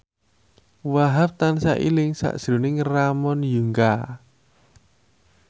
Wahhab tansah eling sakjroning Ramon Yungka